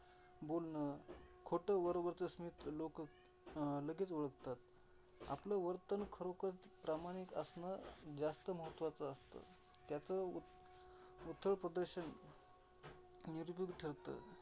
खोटं वरवरच स्मित लोक अं लगेच ओळखतात. आपल वर्तन खरोखर प्रामाणिक असण जास्त महत्त्वाच असत. त्याचं प्रदर्शन ठरंत.